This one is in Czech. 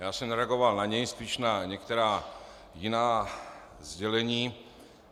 Já jsem nereagoval na něj, spíš na některá jiná sdělení.